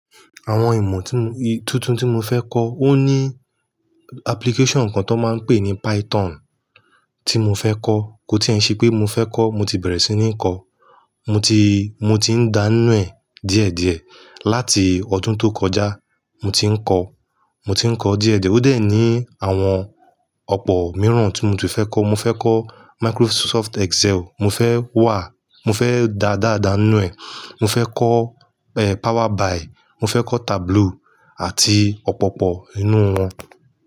Àwọn ìmọ̀ tí m-- tuntun tí mo fẹ́ kọ, ó ní application kan tán máa ń pè ní Python tí mo fẹ́ kọ́. Kò tí ẹ̀ ń ṣe pé mo fẹ́ kọ́, mo ti bẹ̀rẹ̀ sí ní ń kọ. Mo ti, mo ti ń dà ń nú ẹ́ díẹ̀ díẹ̀. Láti ọdún tó kọjá mo ti ń kọ́, mo ti ń kọọ́ díẹ̀ díẹ̀. Ó dẹ̀ ní àwọn ọ̀pọ̀ mìíràn tí mo ti fẹ́ kọ́. Mo fẹ́ kọ́ Microsoft Excel, mo fẹ́ wà, mo fẹ́ da dáa dàa nú ẹ́, mo fẹ́ kọ́ Power BI, mo fẹ́ kọ́ Tableau àti ọ̀pọ̀pọ̀ nínú wọn.